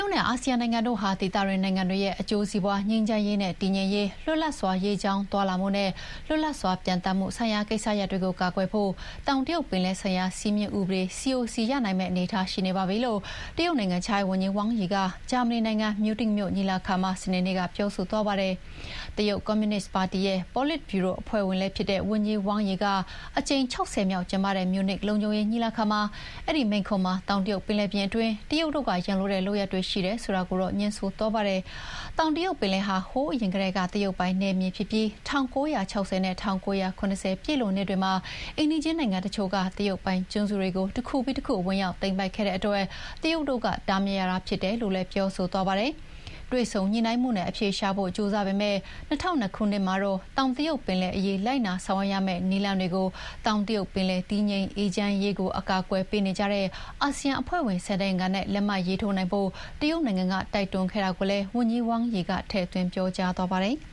ုတ်နဲ့အာဆီယံနိုင်ငံတို့ဟာ ဒေသတွင်းနိုင်ငံတွေရဲ့ အကျိုးစီးပွါး၊ ငြိမ်းချမ်းရေးနဲ့ တည်ငြိမ်ရေး၊ လွတ်လပ်စွာ ရေကြောင်းသွားလာမှုနဲ့ လွတ်လပ်စွာ ပျံ သန်းမှုဆိုင်ရာကိစ္စရပ်တွေကို ကာကွယ်ဖို့ တောင်တရုတ်ပင်လယ်ဆိုင်ရာ စည်းမျဥ်းဥပဒေ COC ရနိုင်မယ့်အနေအထားရှိနေပါပြီလို့ တရုတ်နိုင်ငံခြားရေးဝန်ကြီး wang Yi က ဂျာမနီနိုင်ငံ၊ မြူးနစ်မြို့ညီလာခံမှာ စနေနေ့က ပြောသွားပါတယ်။ တရုတ်ကွန်မြူနစ်ပါတီရဲ့ ပေါ်လစ်ဗြူရိုအဖွဲ့ဝင်လည်းဖြစ်တဲ့ဝန်ကြီး Wang Yi က အကြိမ် ၆၀ မြောက်ကျင်းပတဲ့ မြူးနစ်လုံခြုံရေးညီလာခံမှာမိန့်ခွန်းမှာ တောင်တရုတ်ပင်လယ်ပြင်တွင်း တရုတ်တို့က ရန်လိုတဲ့လုပ်ရပ်တွေရှိတယ်ဆိုတာကိုတော့ ငြင်းဆိုသွားပါတယ်။ တောင်တရုတ်ပင်လယ်ဟာ ဟိုးအရင်ကတည်းက တရုတ်ပိုင်နယ်မြေဖြစ်ပြီး ၁၉၆၀ နဲ့ ၁၉၇၀ ပြည့်လွန်နှစ်တွေမှာ အိမ်နီးချင်းနိုင်ငံတချို့က တရုတ်ပိုင်ကျွန်းတွေကို တခုပြီးတခု ဝင်ရောက်သိမ်းပိုက်ခဲ့တဲ့အတွက် တရုတ်တို့က တားမြစ်ရတာဖြစ်တယ်လို့လည်း ပြောဆိုသွားပါတယ်။ တွေ့ဆုံညှိနှိုင်းမှုနဲ့အဖြေရှာဖို့ ကြိုးစားပေမယ့် ၂၀၀၂ ခုနှစ်မှာတော့ တောင်တရုတ်ပင်လယ်အရေး လိုက်နာဆောင်ရွက်ရမယ့်နည်းလမ်းတွေကို တောင်တရုတ်ပင်လယ် တည်ငြိမ်အေးချမ်းရေးကို အကာအကွယ်ပေးနေကြတဲ့ အာဆီယံအဖွဲ့ဝင် ၁၀ နိုင်ငံနဲ့ လက်မှတ်ရေးထိုးနိုင်ဖို့ တရုတ်နိုင်ငံက တိုက်တွန်းခဲ့တာကိုလည်း ဝန်ကြီး Wang Yi ကထည့်သွင်းပြောကြားသွားပါတယ်။